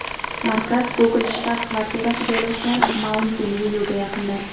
Markaz Google shtab-kvartirasi joylashgan Mauntin-Vyuga yaqindir.